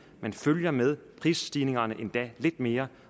man følger med prisstigningerne endda lidt mere